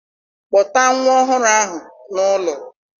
Kpọta nwa ọhụrụ ahụ n'ụlọ!